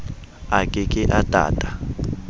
a ke ke a tata